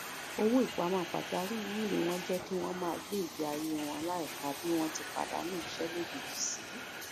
owó ìpamọ pajawírí wọn jẹ kí wọn máa gbé ìgbésí ayé wọn láìka bí wọn ti pàdánù iṣẹ lójijì sí